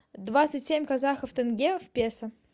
двадцать семь казахов тенге в песо